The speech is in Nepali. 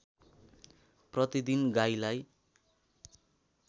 प्रतिदिन गाईलाई